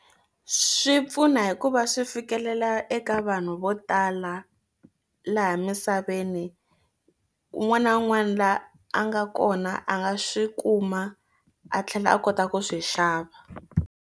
Swi pfuna hikuva swi fikelela eka vanhu vo tala laha misaveni un'wana na un'wana la a nga kona a nga swi kuma a tlhela a kota ku swi xava.